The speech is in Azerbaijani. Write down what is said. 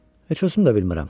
Heç özüm də bilmirəm.